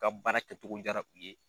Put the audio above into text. Ka baara kɛcogo jara u ye.